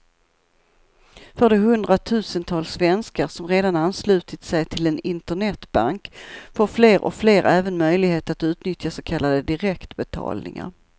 För de hundratusentals svenskar som redan anslutit sig till en internetbank får fler och fler även möjlighet att utnyttja så kallade direktbetalningar.